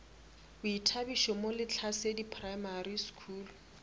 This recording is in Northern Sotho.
boithabišo mo lehlasedi primary school